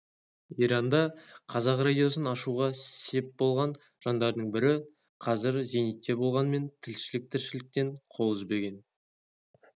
иранда қазақ радиосын ашуға сеп болған жандардың бірі қазір зейнетте болғанымен тілшілік тіршіліктен қол үзбеген